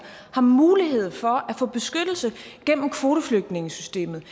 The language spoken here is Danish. har mulighed for at få beskyttelse gennem kvoteflygtningesystemet